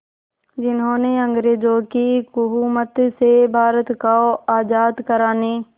जिन्होंने अंग्रेज़ों की हुकूमत से भारत को आज़ाद कराने